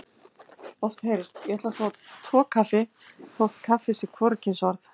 Oft heyrist: Ég ætla að fá tvo kaffi þótt kaffi sé hvorugkynsorð.